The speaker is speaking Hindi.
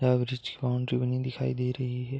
की बाउंड्री बनी दिखाई दे रही है।